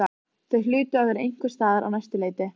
Þau hlutu að vera einhvers staðar á næsta leiti.